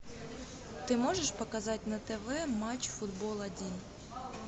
ты можешь показать на тв матч футбол один